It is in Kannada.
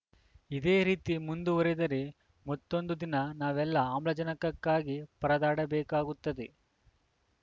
ಇದೇ ರೀತಿ ಮುಂದುವರೆದರೆ ಮತ್ತೊಂದು ದಿನ ನಾವೆಲ್ಲಾ ಆಮ್ಮಜನಕಕ್ಕಾಗಿ ಪರದಾಡಬೇಕಾಗುತ್ತದೆ